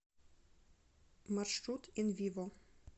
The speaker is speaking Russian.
маршрут инвиво